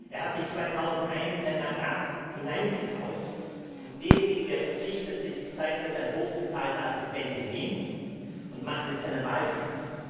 Er hat sich 2001 in sein Mandat hineingekauft, und derjenige, der verzichtete, ist seither sein hochbezahlter Assistent in Wien und macht jetzt seinen Wahlkampf.